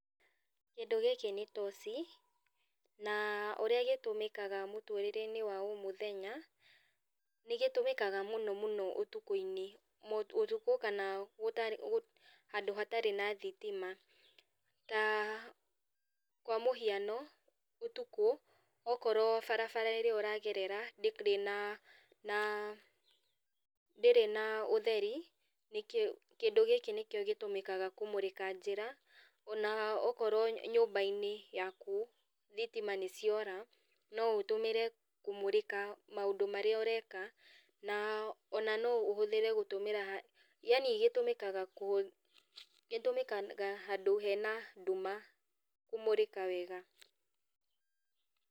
Kĩndũ gĩkĩ nĩ toci, na ũrĩa gĩtũmĩkaga mũtũrĩreinĩ wa o mũthenya, nĩgĩtũmĩkaga mũno mũno ũtukũinĩ, ũtukũ, kana gũtarĩ gũ handũ hatarĩ na thitima. Ta kwa mũhiano, ũtukũ, okorwo barabara ĩrĩa ũragerera ndĩrĩ na na ndĩrĩ na ũtheri, nĩkĩo kĩndũ gĩkĩ nĩkĩo gĩtũmĩkaga kũmũrĩka njĩra, ona okorwo nyũmbainĩ yaku thitima nĩciora, no ũtũmĩre kũmũrĩka maũndũ marĩa ũreka, na ona no ũhũthĩre gũtũmĩra yani gĩtũmĩkaga kũ gĩtũmĩkaga handũ hena nduma kũmũrĩka wega.